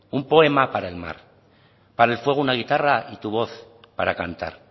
un poema para el mar para el fuego una guitarra y tu voz para cantar